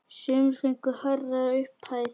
Sumir fengu hærri upphæð.